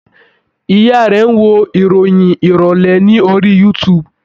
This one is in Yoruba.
Ìyá a rẹ̀ ń wo ìròyìn ìrọ̀lẹ́ ní orí youtube